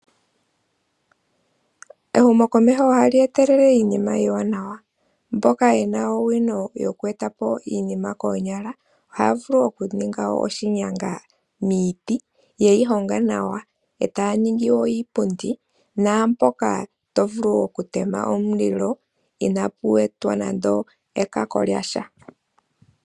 Ehumo komeho ohali etele iinima iwanawa mboka yena owino yokwetapo iinima konyala ohavulu okuninga oshinyanga miti yeyihonga nawa otaningi wo iipundi napoka tovulu okutema omulilo inapu etwa nando ekako lyasha.